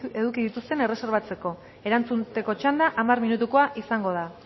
eduki dituzten erreserbatzeko erantzuteko txanda hamar minutukoa izango da